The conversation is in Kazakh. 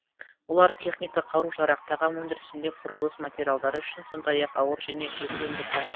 олар техника қару жарақ тағам өндірісінде құрылыс материалдары үшін сондай ақ ауыр және жеңіл өнеркәсіп